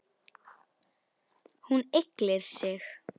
Hún ygglir sig.